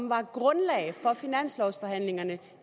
var grundlaget for finanslovforhandlingerne